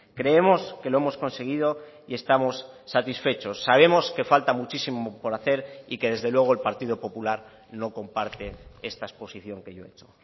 creemos que lo hemos conseguido y estamos satisfechos sabemos que falta muchísimo por hacer y que desde luego el partido popular no comparte esta exposición que yo he hecho